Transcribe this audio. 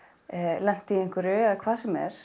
lent í einhverju eða hvað sem er